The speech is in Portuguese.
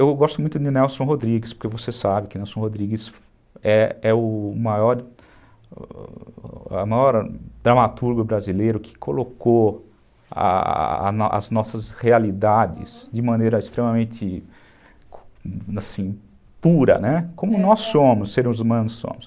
Eu gosto muito de Nelson Rodrigues, porque você sabe que Nelson Rodrigues é o maior dramaturgo brasileiro que colocou as nossas realidades de maneira extremamente pura, como nós somos, seres humanos somos.